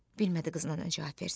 Bilmədi qızına nə cavab versin.